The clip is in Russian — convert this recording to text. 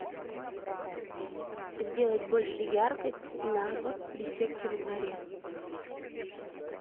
сделать больше яркость на в беседке во дворе